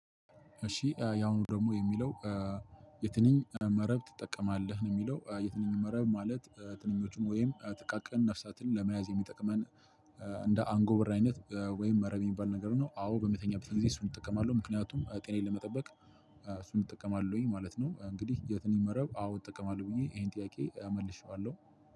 እሺ ያሁኑ ደግሞ የሚለው የትንኝ መረብ ትጠቀማለህ ነው? የሚለው የትንኝ መረብ ማለት ትንኞቹን ወይም ጥቃቅን ነፍሳትን ለመያዝ የሚጠቅመን እንደ አንጎበር አይነት ወይም መረብ የሚባል ነገር ነው። አዎ በመተኛበት ጊዜ እሱን እጠቀማለሁ ምክንያቱም ጤናዬን ለመጠበቅ። እሱን እጠቀማለሁኝ ማለት ነው። እንግዲህ የትንኝ መረብ አዎ እጠቀማለሁ ብዬ ይሄን ጥያቄ እመልሼዋለሁ።